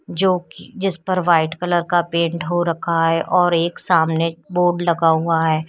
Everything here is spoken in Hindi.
जो कि जिस पर वाइट कलर का पेंट हो रखा है और एक सामने बोर्ड लगा हुआ है।